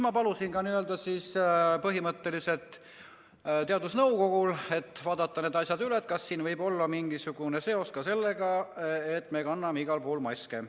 Ma põhimõtteliselt palusin teadusnõukojal vaadata need asjad üle, et kas siin võib olla mingisugune seos ka sellega, et me kanname igal pool maske.